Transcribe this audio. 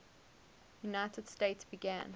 united states began